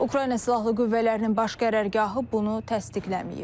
Ukrayna Silahlı Qüvvələrinin Baş Qərargahı bunu təsdiqləməyib.